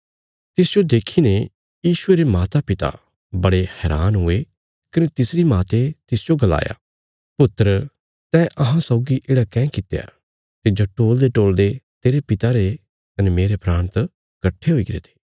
तिसजो देखीने यीशुये रे मातापिता बड़े हैरान हुए कने तिसरी माते तिसजो गलाया पुत्रा तैं अहां सौगी येढ़ा काँह कित्या तिज्जो टोल़देटोल़दे तेरे पिता रे कने मेरे प्राण त कट्ठे हुईगरे थे